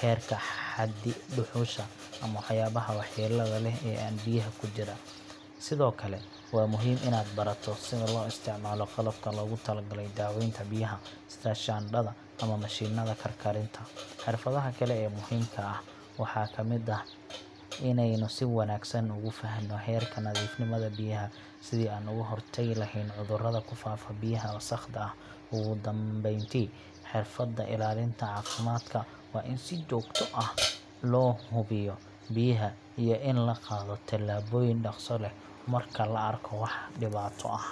heerka xaddi dhuxusha ama waxyaabaha waxyeelada leh ee biyaha ku jira. Sidoo kale, waa muhiim inaad barato sida loo isticmaalo qalabka loogu talagalay daweynta biyaha, sida shaandhada ama mashiinnada karkarinta. Xirfadaha kale ee muhiimka ah waxaa ka mid ah inaynu si wanaagsan u fahanno heerka nadiifnimada biyaha, sidii aan uga hortagi lahayn cudurrada ku faafa biyaha wasakhda ah. Ugu dambeyntii, xirfadda ilaalinta caafimaadka waa in si joogto ah loo hubiyaa biyaha iyo in la qaado talaabooyin dhakhso leh marka la arko wax dhibaato ah.